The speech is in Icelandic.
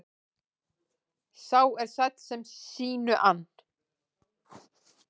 Sá er sæll sem sínu ann.